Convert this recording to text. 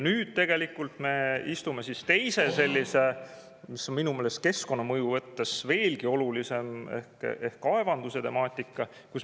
Nüüd me istume teise sellise, mis on minu meelest keskkonnamõju mõttes veelgi olulisem, nimelt kaevanduse temaatika.